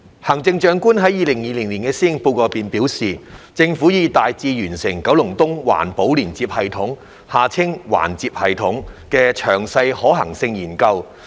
行政長官在《2020年施政報告》中表示，政府已大致完成九龍東環保連接系統的詳細可行性研究。